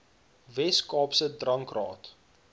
wes kaapse drankraad